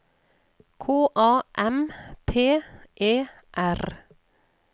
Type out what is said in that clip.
K A M P E R